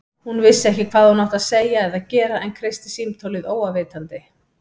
Hún vissi ekki hvað hún átti að segja eða gera en kreisti símtólið óafvitandi.